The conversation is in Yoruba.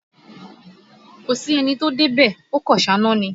Kò sí ẹni tí ó dé bẹ̀, ó kàn sá iná ni